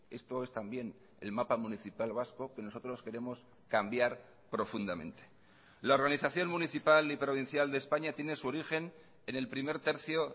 esto es también el mapa municipal vasco que nosotros queremos cambiar profundamente la organización municipal y provincial de españa tiene su origen en el primer tercio